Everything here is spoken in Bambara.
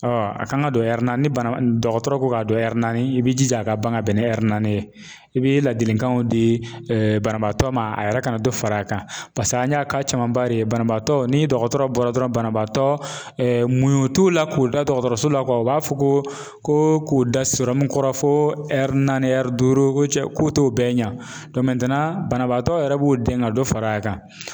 a kan ka don na ni bana dɔgɔtɔrɔ ko k'a don naani i b'i jija a ka ban ka bɛn ni naani ye i bi ladilikanw di banabaatɔ ma, a yɛrɛ kana dɔ far'a kan paseke an y'a camanba de ye, banabaatɔ ni dɔgɔtɔrɔ bɔra dɔrɔn banabaatɔ muɲun t'u la k'u da dɔgɔtɔrɔso la u b'a fɔ ko ko ko k'u da kɔrɔ fo naani duuru cɛ k'u t'o bɛɛ ɲa banabaatɔ yɛrɛ b'u dɛn ka dɔ far'a kan.